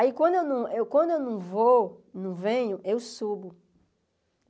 Aí quando eu quando eu não vou, não venho, eu subo.